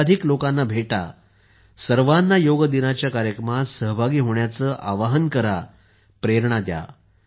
अधिकाधिक लोकांना भेटा सर्वांना योग दिनाच्या कार्यक्रमात सहभागी होण्याचे आवाहन करा प्रेरणा द्या